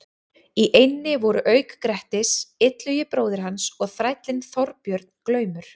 Í eynni voru auk Grettis, Illugi bróðir hans og þrællinn Þorbjörn glaumur.